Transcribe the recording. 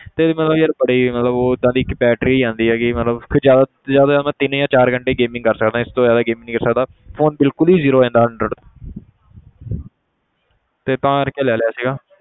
ਤੇ ਵੀ ਮਤਲਬ ਯਾਰ ਬੜੀ ਮਤਲਬ ਓਦਾਂ ਦੀ ਇਹ 'ਚ battery ਨੀ ਆਉਂਦੀ ਹੈਗੀ ਮਤਲਬ ਜ਼ਿਆਦਾ ਜ਼ਿਆਦਾਤਰ ਮੈਂ ਤਿੰਨ ਜਾਂ ਚਾਰ ਘੰਟੇ gaming ਕਰ ਸਕਦਾ ਇਸ ਤੋਂ ਜ਼ਿਆਦਾ gaming ਨੀ ਕਰ ਸਕਦਾ phone ਬਿਲਕੁਲ zero ਹੋ ਜਾਂਦਾ hundred ਤੇ ਤਾਂ ਕਰਕੇ ਲੈ ਲਿਆ ਸੀਗਾ।